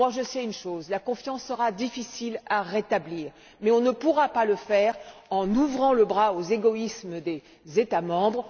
Je sais une chose la confiance sera difficile à rétablir, mais on ne pourra pas y arriver en ouvrant les bras aux égoïsmes des États membres.